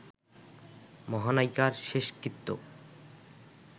মহানায়িকার শেষকৃত্য